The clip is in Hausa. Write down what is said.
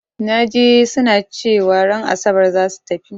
Na ji su na cewa ran Asabar za su tafi.